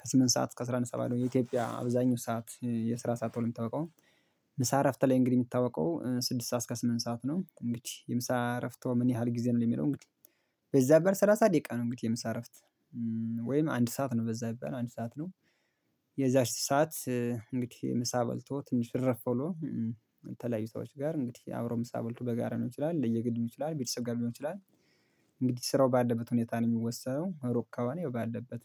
ከስምንት ሰዓት እስከ አስራ አንድ ሰዓት ባለው የኢትዮጵያ አብዛኛው ሰዓት የስራ ሰዓት ተውል የምታውቀው ምሳ እረፍት ላይ እንግዲህ የሚታወቀው ስድስት ሰዓት እስከ ስምንት ሰዓት ነው እንግዲህ የምሳ እረፍትዎ ምን ያህል ጊዜ ነው የሚለው እንግዲህ በዛ ቢባል ሰላሳ ደቂቃ ነው እንግዲህ የምሳ አረፍት ወይም አንድ ሰዓት ነው በዛ ቢባል አንድ ሰዓት ነው። የዛች ሰዓት እንግዲህ ምሳ በልቶ ትንሽ እርፍ ብሎ የተለያዩ ሰዎች ጋር እንግዲህ አብሮ ምሳ በልቶ በጋራ ሊሆን ይችላል ለየ ግልም ይችላል ቤተሰብ ጋር ሊሆን ይችላል እንግዲህ ስራው ባለበት ሁኔታ ነው የሚወሰነው እሩቅ ከሆነ ያው ባለበት